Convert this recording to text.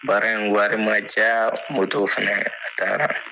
Baara in wari man caa fɛnɛ, a taara.